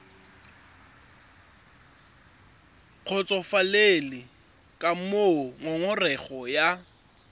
kgotsofalele ka moo ngongorego ya